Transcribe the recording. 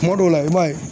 Kuma dɔw la i b'a ye